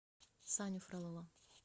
саню фролова